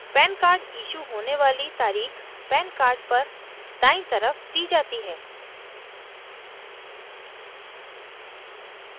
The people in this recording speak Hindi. pan card issue होने वाली तारीख़ pan card पर दायीं तरफ the जाती है